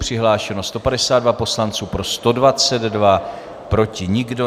Přihlášeni 152 poslanci, pro 122, proti nikdo.